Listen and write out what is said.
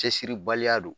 Cɛsiribaliya don